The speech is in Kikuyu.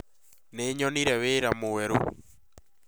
Nĩ nyonire wĩra mwerũ